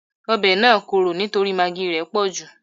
Ọbẹ̀ náà korò nítorí magí í rẹ̀ pọ̀jù